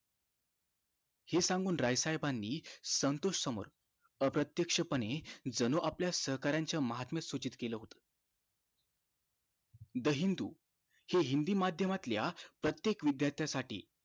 हे सांगुन राय साहेबानी संतोष समोर अप्रतेक्ष पणे जणु आपल्या सहकार्यांनाच्या महात्मे सूचित केलं होत the हिंदु हे हिंदि माध्यमातल्या प्रत्येक विद्यार्थ्या साठी